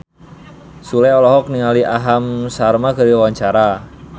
Sule olohok ningali Aham Sharma keur diwawancara